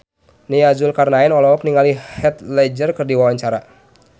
Nia Zulkarnaen olohok ningali Heath Ledger keur diwawancara